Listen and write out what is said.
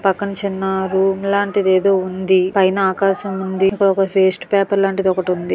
పక్కన చిన్న రూమ్ లాంటిది ఎదో ఉంది. పైన ఆకాశం ఉంది. ఇక్కడ వెస్ట్ పేపెర్లాంటిది ఒకటి ఉంది.